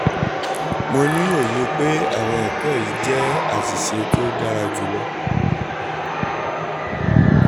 mo ni oye pe awọn ẹkọ wọnyi jẹ aṣiṣe ti o dara julọ